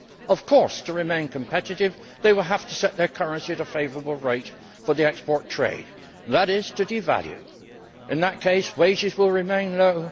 Of course, to remain competitive, they will have to set their currency at a favourable rate for the export trade, and that is to devalue. In that case, wages will remain low.